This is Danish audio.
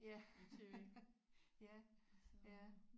Ja ja ja